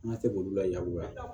An ka se k'olu lakuma